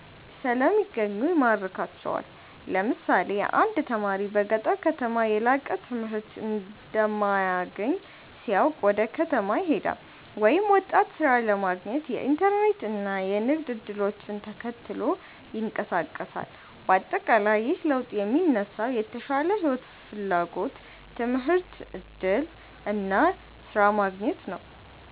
ስለሚገኙ ይማርካቸዋል። ለምሳሌ አንድ ተማሪ በገጠር ከተማ የላቀ ትምህርት እንደማይገኝ ሲያውቅ ወደ ከተማ ይሄዳል፤ ወይም ወጣት ሥራ ለማግኘት የኢንተርኔት እና የንግድ እድሎችን ተከትሎ ይንቀሳቀሳል። በአጠቃላይ ይህ ለውጥ የሚነሳው የተሻለ ሕይወት ፍላጎት፣ ትምህርት እድል እና ስራ ማግኘት ነው።